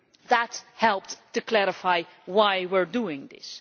That helped to clarify why we are doing this.